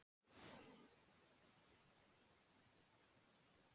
Mælikvarðinn segir þá til um það hversu mikið er búið að smækka raunveruleikann.